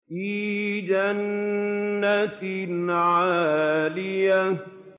فِي جَنَّةٍ عَالِيَةٍ